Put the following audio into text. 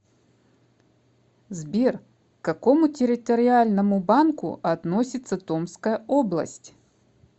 сбер к какому территориальному банку относится томская область